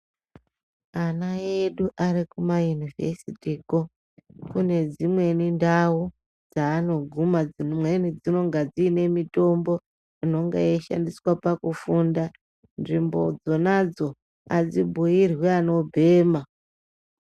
Ana edu ari kuma inivhesiti kwo, kune dzimweni ndawudzaanoguma, dzimweni dzinenge dzine mitombo inoshandiswa pakufunda .Nzvimbo dzonadzobadzibhiirwi anobhema.